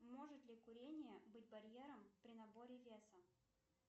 может ли курение быть барьером при наборе веса